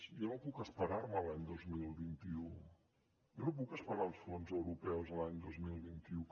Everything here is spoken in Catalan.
jo no puc esperar me a l’any dos mil vint u jo no puc esperar els fons europeus de l’any dos mil vint u